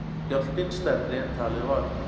Skjálftinn stærri en talið var